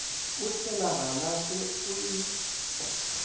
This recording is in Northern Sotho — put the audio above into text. o tšhela galase o e